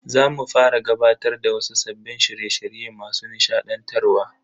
Za mu fara gabatar da wasu sabbin shirye shirye masu nishadantarwa.